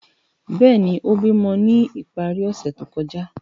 Bẹẹni, o bimọ ni ipari ose to kọja.